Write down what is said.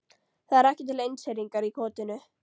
Það er ekki til einseyringur í kotinu.